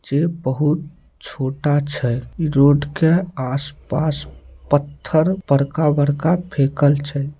जे बहुत छोटा छै इ रोड के आस-पास पत्थर बड़का-बड़का फेकल छै।